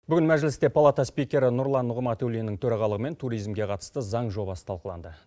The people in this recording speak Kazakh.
бүгін мәжілісте палата спикері нұрлан нығматуллиннің төрағалығымен туризмге қатысты заң жобасы талқыланды